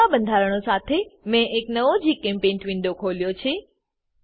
જોઈતા બંધારણો સાથે મેં એક નવો જીચેમ્પેઇન્ટ વિન્ડો ખોલ્યો છે